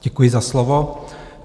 Děkuji za slovo.